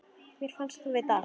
Mér fannst þú vita allt.